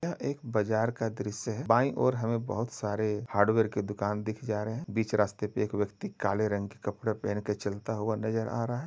यह एक बाजार का दृश्य है। बाई ओर हमें बहोत सारे हार्डवेयर के दुकान दिख जा रहे हैं। बीच रास्ते पे एक व्यक्ति काले रंग के कपड़े पहनकर चलता हुआ नजर आ रहा है।